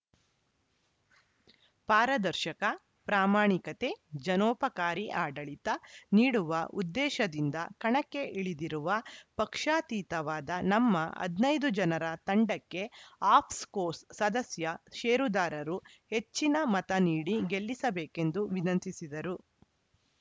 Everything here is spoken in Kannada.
ಪಾರದರ್ಶಕ ಪ್ರಾಮಾಣಿಕತೆ ಜನೋಪಕಾರಿ ಆಡಳಿತ ನೀಡುವ ಉದ್ದೇಶದಿಂದ ಕಣಕ್ಕೆ ಇಳಿದಿರುವ ಪಕ್ಷಾತೀತವಾದ ನಮ್ಮ ಹದಿನೈದು ಜನರ ತಂಡಕ್ಕೆ ಆಫ್ಸ್‌ಕೋಸ್‌ ಸದಸ್ಯ ಷೇರುದಾರರು ಹೆಚ್ಚಿನ ಮತ ನೀಡಿ ಗೆಲ್ಲಿಸಬೇಕೆಂದು ವಿನಂತಿಸಿದರು